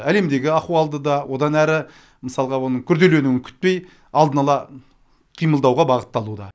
әлемдегі ахуалды да одан әрі мысалға оның күрделенуін күтпей алдын ала қимылдауға бағытталуда